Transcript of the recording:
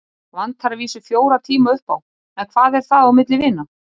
Vantar að vísu fjóra tíma upp á. en hvað er það á milli vina.